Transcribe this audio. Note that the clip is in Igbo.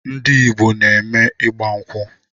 Ndị Igbo na-eme ịgba nkwu